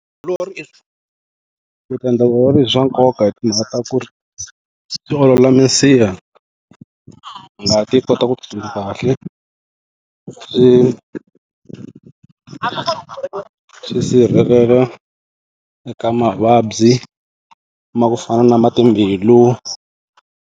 eku endla vutiolori i swa nkoka hi timhaka ta ku ri swi olola minsiha ngati yi kota ku tsutsuma kahle swi9 swi sirhelela eka mavabyi ma ku fana na ma timbilu.